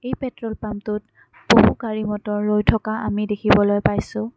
এই পেট্ৰল পাম্পটোত বহু গাড়ী-মটৰ ৰৈ থকা আমি দেখিবলৈ পাইছোঁ।